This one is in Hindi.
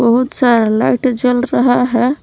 बहुत सारा लाइटें जल रहा है।